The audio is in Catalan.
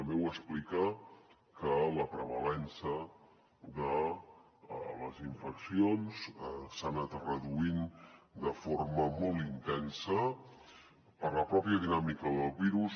també ho explica que la prevalença de les infeccions s’ha anat reduint de forma molt intensa per la pròpia dinàmica del virus